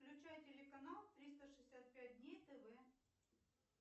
включай телеканал триста шестьдесят пять дней тв